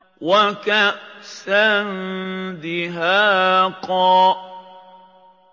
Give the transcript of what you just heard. وَكَأْسًا دِهَاقًا